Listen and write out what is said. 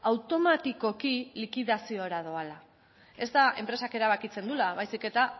automatikoki likidaziora doala ez da enpresak erabakitzen duela baizik eta